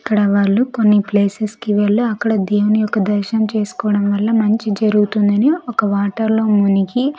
అక్కడ వాళ్ళు కొన్ని ప్లేసెస్ కి వెళ్లి అక్కడ దేవుని యొక్క దర్శనం చేసుకోవడం వల్ల మంచి జరుగుతుందని ఒక వాటర్ లో మునిగి.